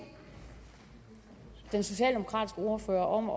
den socialdemokratiske ordfører om at